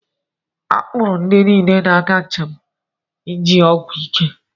A kpụụrụ ndị niile na-aga njem ji ọgwụ ike.